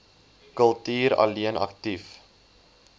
kultuur alleen aktief